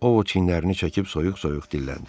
O o çinlərini çəkib soyuq-soyuq dilləndi.